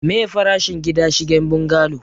meye farashin gida shigen bungalo?